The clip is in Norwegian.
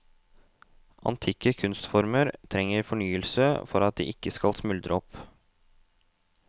Antikke kunstformer trenger fornyelse for at de ikke skal smuldre opp.